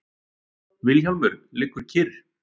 Vilhjálmur liggur kyrr.